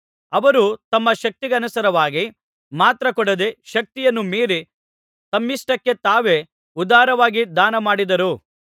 ಅವರು ತಮ್ಮ ಶಕ್ತಿಯನುಸಾರವಾಗಿ ಮಾತ್ರ ಕೊಡದೆ ಶಕ್ತಿಯನ್ನು ಮೀರಿ ತಮ್ಮಿಷ್ಟಕ್ಕೆ ತಾವೇ ಉದಾರವಾಗಿ ದಾನಮಾಡಿದರು